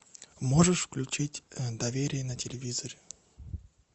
можешь включить доверие на телевизоре